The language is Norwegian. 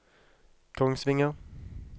Kongsvinger